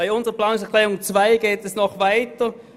Unser Abänderungsantrag 2 geht noch weiter.